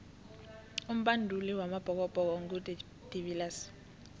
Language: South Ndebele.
umbanduli wamabhokobhoko ngu de viliers